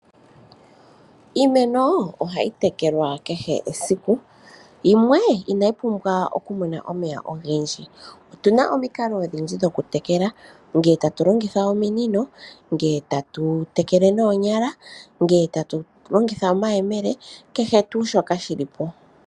Iimeno ohayi tekelwa kehe esiku, yimwe inayi pumbwa oku mona omeya ogendji otuna omikalo odhindji dhoku tekela nge ta tulongotha ominino, nge tatu tekele nonyala, nge tatu longitha omayemele kehe tu shoka shi lipo.